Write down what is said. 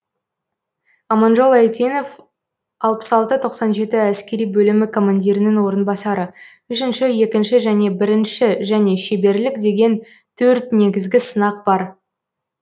аманжол әйтенов алпыс алты тоқсан жеті әскери бөлімі командирінің орынбасары үшінші екінші және бірінші және шеберлік деген төрт негізгі сынақ бар